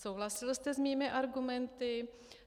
Souhlasil jste s mými argumenty.